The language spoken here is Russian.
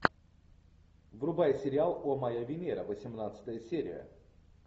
врубай сериал о моя венера восемнадцатая серия